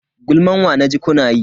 Gulman wa naji kuna yi?